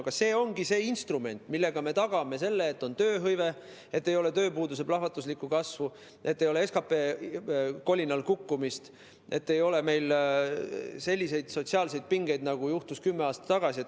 Aga see ongi see instrument, millega me tagame selle, et on tööhõive, ei ole tööpuuduse plahvatuslikku kasvu, ei ole SKP kolinal kukkumist ega ole selliseid sotsiaalseid pingeid nagu kümme aastat tagasi.